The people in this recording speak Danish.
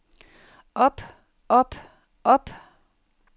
op op op